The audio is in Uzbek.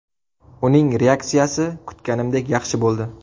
Uning reaksiyasi kutganimdek yaxshi bo‘ldi.